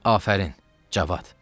Afərin, Cavad!